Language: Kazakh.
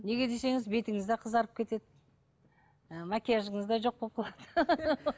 неге десеңіз бетіңіз де қызарып кетеді ы макияжыңыз да жоқ болып қалады